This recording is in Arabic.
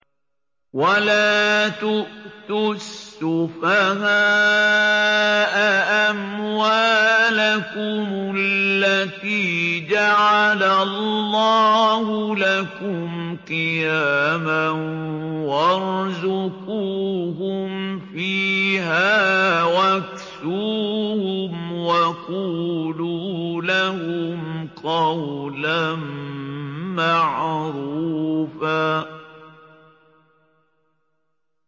وَلَا تُؤْتُوا السُّفَهَاءَ أَمْوَالَكُمُ الَّتِي جَعَلَ اللَّهُ لَكُمْ قِيَامًا وَارْزُقُوهُمْ فِيهَا وَاكْسُوهُمْ وَقُولُوا لَهُمْ قَوْلًا مَّعْرُوفًا